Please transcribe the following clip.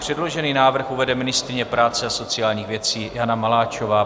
Předložený návrh uvede ministryně práce a sociálních věcí Jana Maláčová.